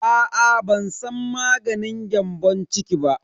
Aa ban san maganin gyambon ciki ba.